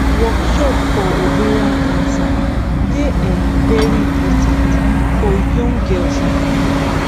workshop for ovarian cancer dey um very important for young girls and women